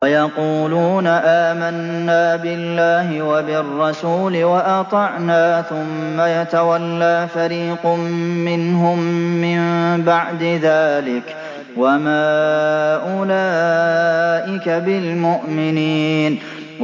وَيَقُولُونَ آمَنَّا بِاللَّهِ وَبِالرَّسُولِ وَأَطَعْنَا ثُمَّ يَتَوَلَّىٰ فَرِيقٌ مِّنْهُم مِّن بَعْدِ ذَٰلِكَ ۚ وَمَا أُولَٰئِكَ بِالْمُؤْمِنِينَ